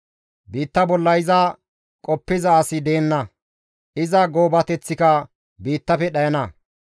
Biitta bolla iza qoppiza asi deenna; iza goobateththika biittafe dhayana.